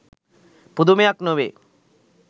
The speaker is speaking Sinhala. පුදුමයක් නොවේ